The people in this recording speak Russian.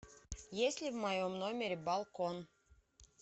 есть ли в моем номере балкон